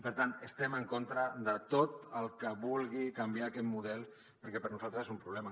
per tant estem en contra de tot el que vulgui canviar aquest model perquè per nosaltres és un problema